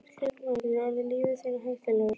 Slíkur maður getur orðið lífi þínu hættulegur.